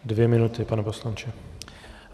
Dvě minuty, pane poslanče.